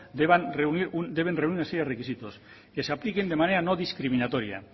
deben reunir una serie de requisitos que se apliquen de manera no discriminatoria